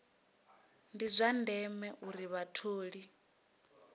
ndi zwa ndeme uri vhatholi